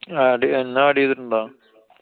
add ചെയ്യാ~ എന്നെ add ചെയ്തിട്ടുണ്ടോ?